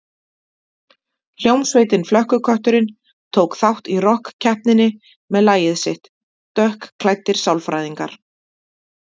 Hljómsveitin Flökkukötturinn tók þátt í rokkkeppninni með lagið sitt „Dökkklæddir sálfræðingar“.